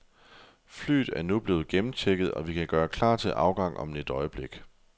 Flyet er nu blevet gennemchecket, og vi kan gøre klar til afgang om et øjeblik.